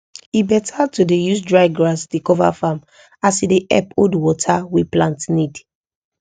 e beta to dey use dry grass dey cover farm as e dey help hold water wey plant need